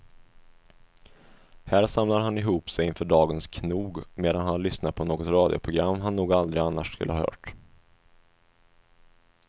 Här samlar han ihop sig inför dagens knog medan han lyssnar på något radioprogram han nog aldrig annars skulle ha hört.